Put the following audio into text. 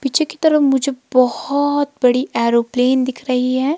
पीछे की तरफ मुझे बहोत बड़ी एयरोप्लेन दिख रही है।